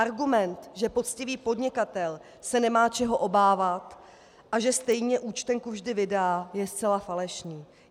Argument, že poctivý podnikatel se nemá čeho obávat a že stejně účtenku vždy vydá, je zcela falešný.